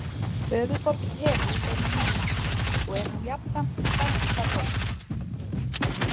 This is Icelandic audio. Höfuðborg Perú er Líma og er hún jafnframt stærsta borgin.